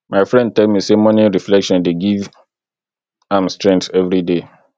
my friend tell me say morning reflection dey give am strength everyday